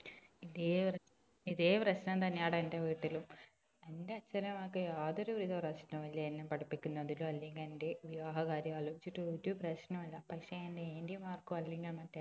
ഇതേ ഇതേ പ്രശ് പ്രശ്നം തന്നെയാടാ എന്റെ വീട്ടിലും എന്റെ അച്ഛൻ അമ്മക്ക് യാതൊരു വിധ പ്രശ്നവും ഇല്ല എന്നെ പഠിപ്പിക്കുന്നതിലോ അല്ലങ്കില് എന്റെ വിവാഹ കാര്യം ആലോചിച്ചിട്ടോ ഒരു പ്രശ്നവും ഇല്ല പക്ഷെ എന്റെ aunty മാർക്കോ അല്ലങ്കിൽ എന്റെ